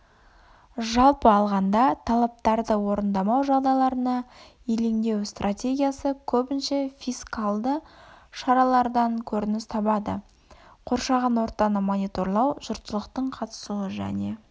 жалпы алғанда талаптарды орындамау жағдайларына елеңдеу стратегиясы көбінше фискальды шаралардан көрініс табады қоршаған ортаны мониторлау жұртшылықтың қатысуы және